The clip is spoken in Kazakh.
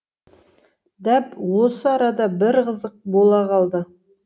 дәп осы арада бір қызық бола қалды